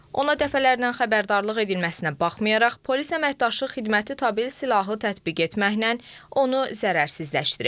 Ona dəfələrlə xəbərdarlıq edilməsinə baxmayaraq, polis əməkdaşı xidməti tabel silahı tətbiq etməklə onu zərərsizləşdirib.